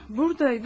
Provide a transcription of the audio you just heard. Buradaydı.